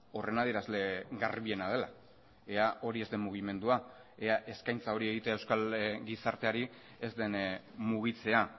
horren adierazle garbiena dela ea hori ez den mugimendua ea eskaintza hori egitea euskal gizarteari ez den mugitzea